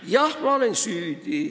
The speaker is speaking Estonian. Jah, ma olen süüdi.